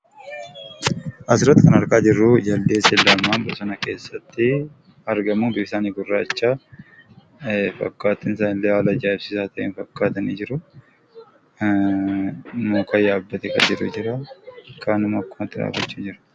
Asirratti kan argaa jirruu jaldeessa jedhamaa . Bosona keessattii argamuu. Biftisaanii gurraachaa. Fakkaattin isaaniillee haala ajaa'ibsiisaa ta'een fakkaatanii jiruu. Muka yaabbatee kan jiru jiraa kaan immoo akkumatti dhaabbachuu jira.